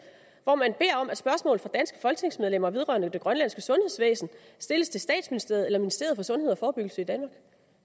hvor man beder om at spørgsmål fra danske folketingsmedlemmer vedrørende det grønlandske sundhedsvæsen stilles til statsministeriet eller ministeriet for sundhed og forebyggelse i danmark